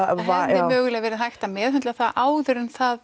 hefði mögulega verið hægt að meðhöndla það áður en það